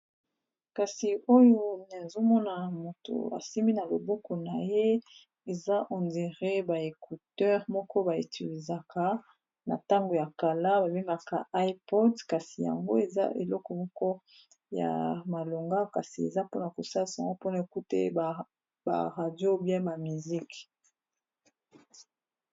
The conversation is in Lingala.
kasi oyo ezomona moto asimi na loboko na ye eza ondere baecuteur moko baetuizaka na ntango ya kala babemaka ipod kasi yango eza eleko moko ya malonga kasi eza mpona kosal sango mpona ekute baradio bya ba misiki